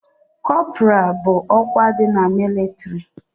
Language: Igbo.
Kọpra bụ ọkwa dị na mịlịtrị